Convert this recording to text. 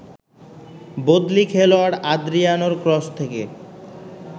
বদলি খেলোয়াড় আদ্রিয়ানোর ক্রস থেকে